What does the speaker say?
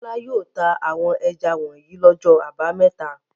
Bọ́lá yóò ta àwọn ẹja wọ̀nyí lọ́jọ́ àbámẹ́ta.